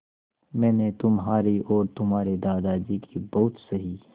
मैंने तुम्हारी और तुम्हारे दादाजी की बहुत सही